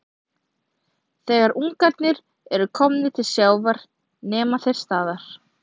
Þegar ungarnir eru komnir til sjávar nema þeir staðar.